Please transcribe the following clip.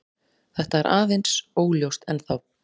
Þetta er aðeins óljóst ennþá.